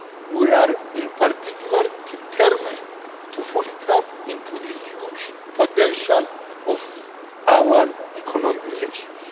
We are, in particular, determined to fully tap into the huge potential of our economic relations.